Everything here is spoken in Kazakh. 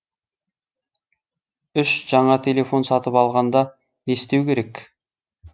үш жаңа телефон сатып алғанда не істеу керек